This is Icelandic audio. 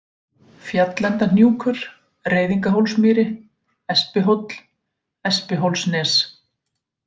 Fjallendahnjúkur, Reiðingahólsmýri, Espihóll, Espihólsnes